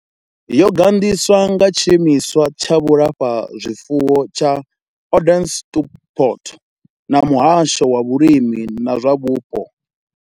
Yo gandiswa nga tshiimiswa tsha vhulafhazwifuwo tsha Onderstepoort na muhasho wa vhulimi na zwa vhupo.